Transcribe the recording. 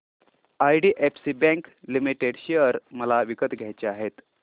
IDFC bank limited share मला विकत घ्यायचे आहेत